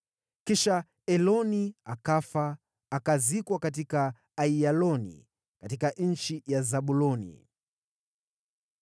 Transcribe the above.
Kisha Eloni akafa, akazikwa katika Aiyaloni, katika nchi ya Zabuloni.